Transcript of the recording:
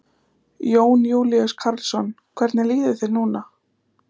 Jón Júlíus Karlsson: Hvernig líður þér núna?